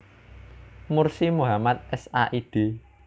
Mursi Muhammad Sa id